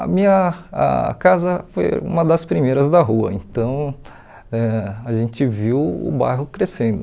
A minha a casa foi uma das primeiras da rua, então ãh a gente viu o bairro crescendo.